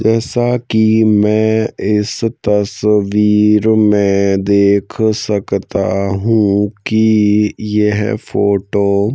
जैसा की मैं इस तस्वीर में देख सकता हूं की यह फोटो --